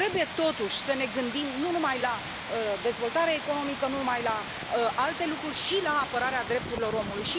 Trebuie, totuși, să ne gândim nu numai la dezvoltarea economică, nu numai la alte lucruri, ci și la apărarea drepturilor omului.